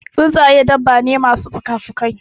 Tsuntsaƴe dabba ne masu pukapukai.